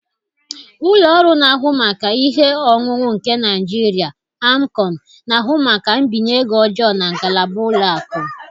Ụlọ ọrụ na-ahụ maka ihe onwunwe nke Nigeria (AMCON) na-ahụ maka mbinye ego ọjọọ na ngalaba ụlọ akụ.